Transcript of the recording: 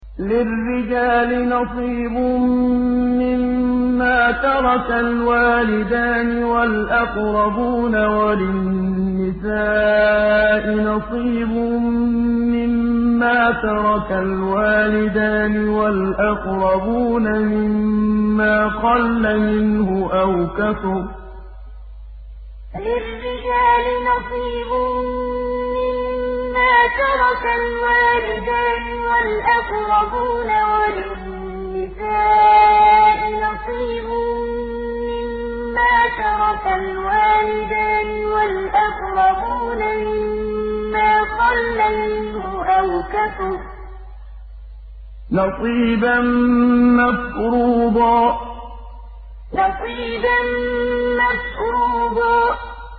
لِّلرِّجَالِ نَصِيبٌ مِّمَّا تَرَكَ الْوَالِدَانِ وَالْأَقْرَبُونَ وَلِلنِّسَاءِ نَصِيبٌ مِّمَّا تَرَكَ الْوَالِدَانِ وَالْأَقْرَبُونَ مِمَّا قَلَّ مِنْهُ أَوْ كَثُرَ ۚ نَصِيبًا مَّفْرُوضًا لِّلرِّجَالِ نَصِيبٌ مِّمَّا تَرَكَ الْوَالِدَانِ وَالْأَقْرَبُونَ وَلِلنِّسَاءِ نَصِيبٌ مِّمَّا تَرَكَ الْوَالِدَانِ وَالْأَقْرَبُونَ مِمَّا قَلَّ مِنْهُ أَوْ كَثُرَ ۚ نَصِيبًا مَّفْرُوضًا